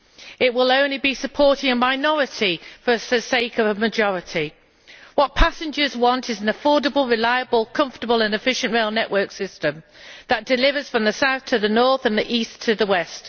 It will only be supporting a minority at the cost of a majority. What passengers want is an affordable, reliable, comfortable and efficient rail network system that delivers from South to North and from East to West.